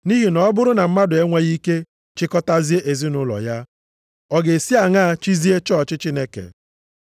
(Nʼihi na ọ bụrụ na mmadụ enweghị ike chịkọtazie ezinaụlọ ya, ọ ga-esi aṅaa chịzie chọọchị Chineke?)